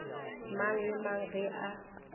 mang le mang ge a